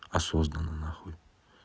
осознанно нахуй